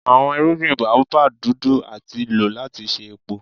Awọn irugbin Baobab dudu ati lo lati ṣe epo.